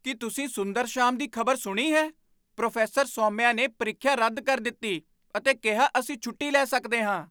ਕੀ ਤੁਸੀਂ ਸੁੰਦਰਸ਼ਾਮ ਦੀ ਖਬਰ ਸੁਣੀ ਹੈ? ਪ੍ਰੋਫੈਸਰ ਸੌਮਿਆ ਨੇ ਪ੍ਰੀਖਿਆ ਰੱਦ ਕਰ ਦਿੱਤੀ ਅਤੇ ਕਿਹਾ ਅਸੀਂ ਛੁੱਟੀ ਲੈ ਸਕਦੇ ਹਾਂ!